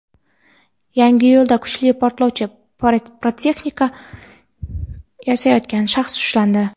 Yangiyo‘lda kuchli portlovchi pirotexnika yasayotgan shaxs ushlandi.